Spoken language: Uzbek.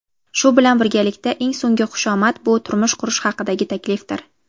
shu bilan birgalikda eng so‘nggi xushomad bu turmush qurish haqidagi taklifdir.